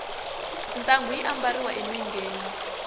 ntangu yi ambariwa enengeni